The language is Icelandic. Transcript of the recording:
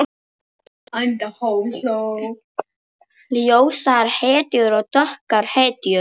Ljósar hetjur og dökkar hetjur.